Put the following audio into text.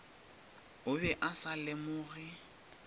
o be a sa lemoge